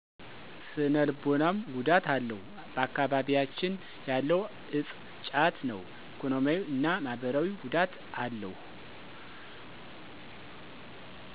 ስነልቦናዎ ጉዳት አለው ባአካቢቢያችን ያለው እፆ ጫት ነው። ኢኮኖሚያዊ እና ማህበራዊ ጉዳት አለው።